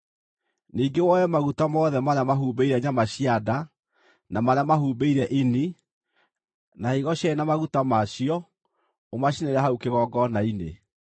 Ningĩ woe maguta mothe marĩa mahumbĩire nyama cia nda, na marĩa mahumbĩire ini, na higo cierĩ na maguta ma cio ũmacinĩre hau kĩgongona-inĩ.